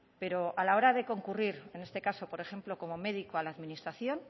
pero a la hora de concurrir en este caso por ejemplo como médico a la administración